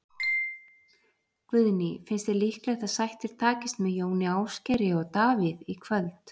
Guðný: Finnst þér líklegt að sættir takist með Jóni Ásgeiri og Davíð í kvöld?